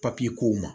Papiye kow ma